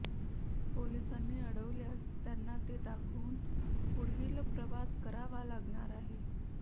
पोलिसांनी अडवल्यास त्यांना ते दाखवून पुढील प्रवास करावा लागणार आहे